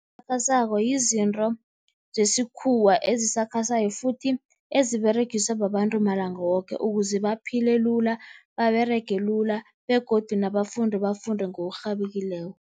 esakhasako yizinto zesikhuwa ezisakhasayo futhi eziberegiswa babantu malanga woke ukuze baphile lula, baberege lula begodu nabafundi bafunde ngokurhabekileko.